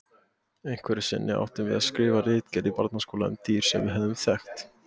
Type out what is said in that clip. Einhverju sinni áttum við að skrifa ritgerð í barnaskólanum um dýr sem við höfðum þekkt.